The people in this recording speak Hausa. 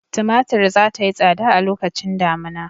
Tumatur za ta yi tsada a lokacin damina.